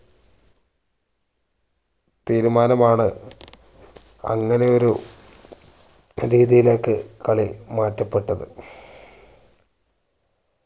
തീരുമാനം ആണ് അങ്ങനെ ഒരു രീതിയിലേക്ക് കളി മാറ്റപ്പെട്ടത്